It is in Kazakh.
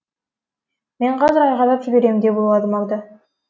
мен қазір айқайлап жіберем деп ойлады магда